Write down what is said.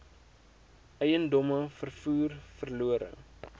eiendomme vervoer verlore